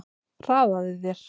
Hraðaðu þér!